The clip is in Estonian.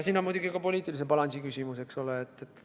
Siin on muidugi ka poliitilise balansi küsimus, eks ole.